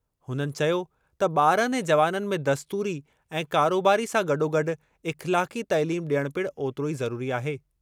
हुननि चयो त ॿारनि ऐं जवाननि में दस्तूरी ऐं कारोबारी सां गॾोगॾु इख़्लाक़ी तइलीम ॾियणु पिणु ओतिरो ई ज़रूरी आहे।